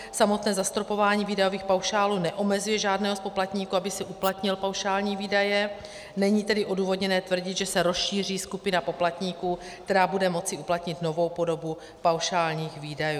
Samotné zastropování výdajových paušálů neomezuje žádného z poplatníků, aby si uplatnil paušální výdaje, není tedy odůvodněné tvrdit, že se rozšíří skupina poplatníků, která bude moci uplatnit novou podobu paušálních výdajů.